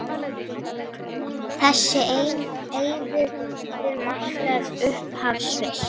Þessi eiður markar upphaf Sviss.